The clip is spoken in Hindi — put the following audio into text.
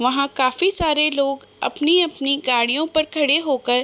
वहाँ काफी सारे लोग अपनी-अपनी गाड़ियों पर खड़े होकर --